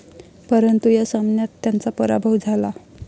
परंतु या सामन्यात त्यांचा पराभव झाला.